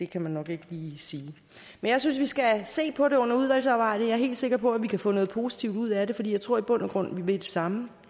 kan man nok ikke lige sige men jeg synes vi skal se på det under udvalgsarbejdet jeg er helt sikker på at vi kan få noget positivt ud af det for jeg tror i bund og grund vi vil det samme